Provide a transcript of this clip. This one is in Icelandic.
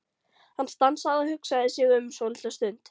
Hann stansaði og hugsaði sig um svolitla stund.